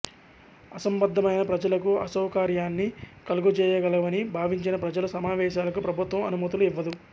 అసంబద్ధమైన ప్రజలకు అసౌకర్యాన్ని కలుగజేయగలవని భావించిన ప్రజల సమావేశాలకు ప్రభుత్వం అనుమతులు ఇవ్వదు